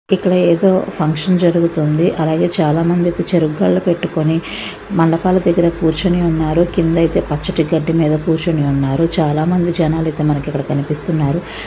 ఇక్కడ ఏదో ఫంక్షన్ జరుగుతుంది. చాలా మంది అయితే చెరుకు గడలు పెట్టుకొని మండపాల దగ్గర కూర్చొని ఉన్నారు. కింద అయితే పచ్చటి గడ్డి మీద కూర్చొని ఉన్నారు. చాలా మంది జనాలు అయితే ఇక్కడ కనిపిస్తున్నారు.